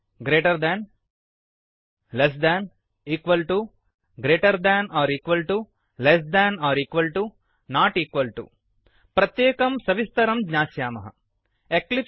greater than greater than less than less than 19 000113 000013 equal to समं greater than or equal to greater than आहोस्वित् समं less than or equal to less than आहोस्वित् समं not equal to असमं प्रत्येकं सविस्तरम् ज्ञास्यामः